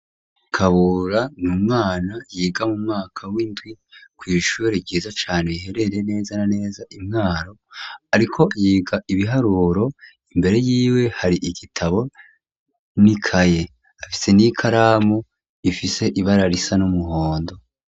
Kabura ni umwana yiga mu mwaka w'indwi kw'ishure ryiza cane iherereye neza na neza i Mwaro, ariko yiga ibiharuro imbere yiwe hari igitabo n'ikaye, afise n'ikaramu ifise ibara risa n'umuhondo.